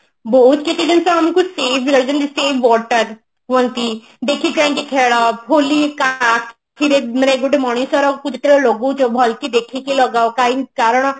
ବହୁତ କିଛି ଜିନିଷ ଆମକୁ save ରଖିକି ଯେମିତି save water କୁହନ୍ତି ଦେଖି ଚାହିକି ଖେଳ ହୋଲି କାହା ଆଖିରେ ମାନେ ଗୋଟେ ମଣିଷରକୁ ଯେତେବେଳେ ଲଗଉଛ ଭଲକି ଦେଖିକି ଲଗାଅ କାହିଁ କାରଣ